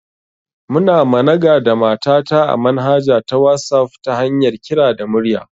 Muna managa da mata ta a manhaja ta wasaf ta hanyar kira da murya